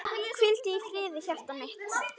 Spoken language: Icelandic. Hvíldu í friði hjartað mitt.